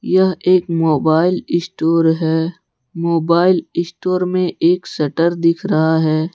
यह एक mobile store है मोबाइल स्टोर मे एक शटर दिख रहा है।